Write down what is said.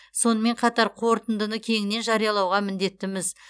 сонымен қатар қорытындыны кеңінен жариялауға міндеттіміз